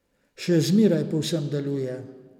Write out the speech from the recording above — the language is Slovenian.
Še zmeraj povsem deluje.